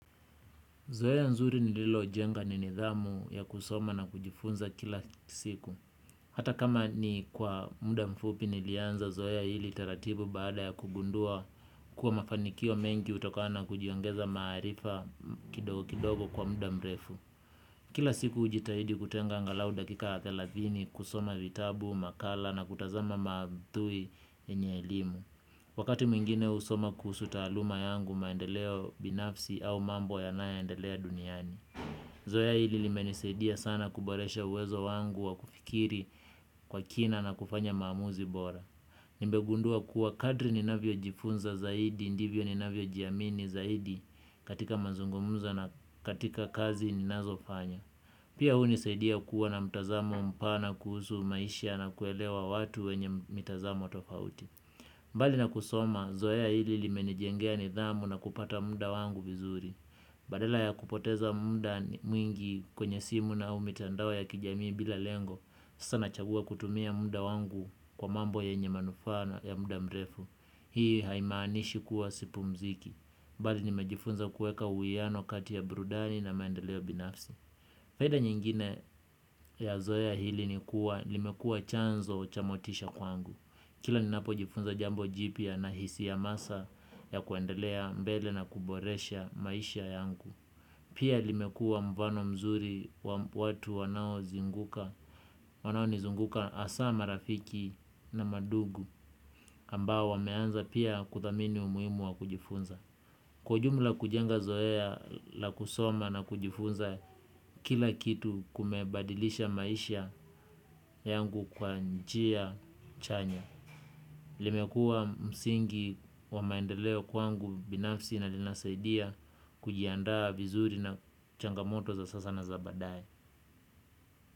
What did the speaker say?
Zoea nzuri nililojenga ni nidhamu ya kusoma na kujifunza kila siku. Hata kama ni kwa muda mfupi nilianza zoea ili taratibu baada ya kugundua kuwa mafanikio mengi hutokana na kujiongeza maarifa kidogo kidogo kwa muda mrefu. Kila siku hujitahidi kutenga angalau dakika ya thelathini kusoma vitabu, makala na kutazama maudhui yenye elimu. Wakati mwingine husoma kuhus taaluma yangu maendeleo binafsi au mambo yanayoendelea duniani. Zoea hili limenisaidia sana kuboresha uwezo wangu wa kufikiri kwa kina na kufanya maamuzi bora. Nimegundua kuwa kadri ninavyo jifunza zaidi, ndivyo ninavyojiamini zaidi katika mazungumzo na katika kazi ninazofanya. Pia hunisaidia kuwa na mtazamo mpana kuhusu maisha na kuelewa watu wenye mitazamo tofauti. Mbali na kusoma, zoea hili limenijengea nidhamu na kupata muda wangu vizuri. Badala ya kupoteza muda mwingi kwenye simu au mitandao ya kijamii bila lengo, sasa nachagua kutumia muda wangu kwa mambo yenye manufaa na ya muda mrefu. Hii haimaanishi kuwa sipumziki. Bali nimejifunza kuweka uwiano kati ya burudani na maendeleo binafsi. Faida nyingine ya zoea hili nikuwa, limekua chanzo cha motisha kwangu. Kila ninapojifunza jambo jipia nahisi hamasa ya kuendelea mbele na kuboresha maisha yangu. Pia limekuwa mfano mzuri wa watu wanaozunguka. Wanaonizunguka hasa marafiki na madugu ambao wameanza pia kuthamini umuhimu wa kujifunza. Kwa ujumla kujenga zoea la kusoma na kujifunza kila kitu kumebadilisha maisha yangu kwa njia chanya. Limekuwa msingi wa maendeleo kwangu binafsi na linasaidia kujiandaa vizuri na changamoto za sasa na za baadae.